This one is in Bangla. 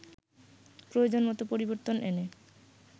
প্রয়োজন মতো পরিবর্তন এনে